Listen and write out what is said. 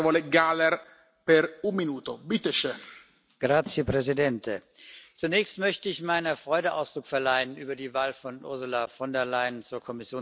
Herr Präsident! Zunächst möchte ich meiner Freude Ausdruck verleihen über die Wahl von Ursula von der Leyen zur Kommissionspräsidentin.